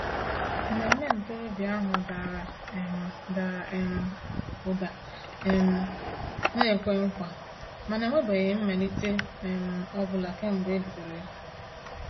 Mmemme ntorobịa ahụ dara um dara um ụda um na-ekwe nkwa, mana enwebeghị mmelite um ọ bụla kemgbe e bidoro ya.